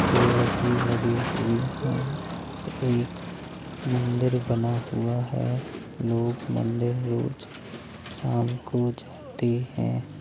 फेड़ भी लगे हुए हैं और एक मंदिर बना हुआ है लोग मंदिर रोज शाम को जाते है।